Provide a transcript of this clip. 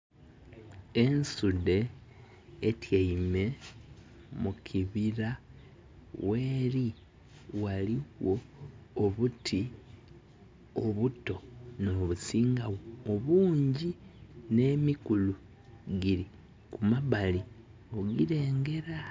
Ensudhe etyeime mu kibira. Gheri ghaligho obuti obuto nobusinga obungi nh'emikulu kumabali ogilengera